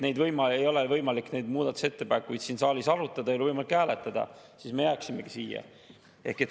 Ei ole võimalik neid muudatusettepanekuid siin saalis arutada, ei ole võimalik hääletada, siis me jääksimegi siia.